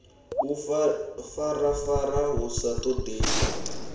u ifarafara hu sa ṱoḓei